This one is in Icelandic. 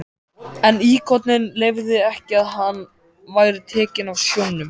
En íkoninn leyfði ekki að hann væri tekinn af sjónum.